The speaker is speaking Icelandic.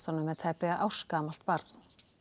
með tæplega ársgamalt barn